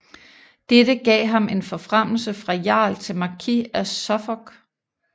Dette gav ham en forfremmelse fra jarl til Markis af Suffolk